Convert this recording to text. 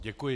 Děkuji.